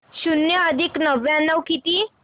शून्य अधिक नव्याण्णव किती